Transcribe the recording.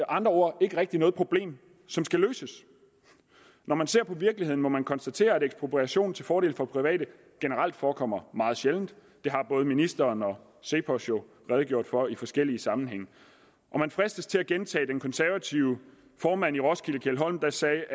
andre ord ikke rigtig noget problem som skal løses når man ser på virkeligheden må man konstatere at ekspropriation til fordel for private generelt forekommer meget sjældent det har både ministeren og cepos jo redegjort for i forskellige sammenhænge og man fristes til at gentage hvad den konservative formand i roskilde keld holm sagde